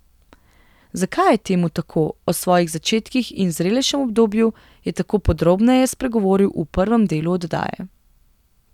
Zakaj je temu tako, o svojih začetkih in zrelejšem obdobju je tako podrobneje spregovoril v prvem delu oddaje.